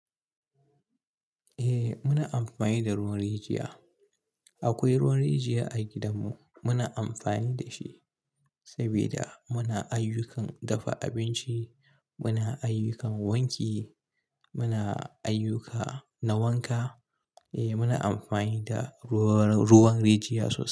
Eh muna amfani da ruwan rijiya. Akwai ruwan rijiya a gidanmu muna amfani da shi sabida muna ayyukan dafa abinci, muna ayyukan wanki, muna ayyuka na wanka e. Eh muna amfani da ruwan rijiya sosai.